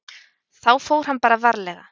Þá fór hann bara varlega.